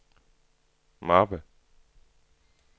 mappe